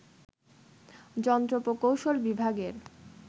যন্ত্র প্রকৌশল বিভাগের